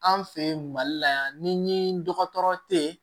An fɛ yen mali la yan ni ɲi dɔgɔtɔrɔ tɛ ye